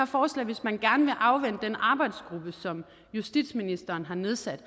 forslag hvis man gerne vil afvente den arbejdsgruppe som justitsministeren har nedsat